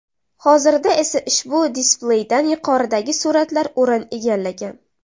Hozirda esa ushbu displeydan yuqoridagi suratlar o‘rin egallagan.